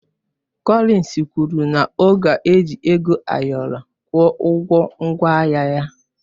Cọlins kwụrụ na ọ ga-eji ego ayọrọ kwụọ ụgwọ ngwaahịa ya.